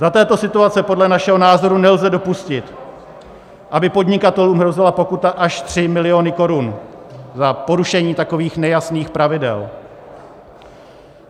Za této situace podle našeho názoru nelze dopustit, aby podnikatelům hrozila pokuta až 3 miliony korun za porušení takových nejasných pravidel.